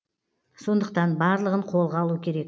сондықтан барлығын қолға алу керек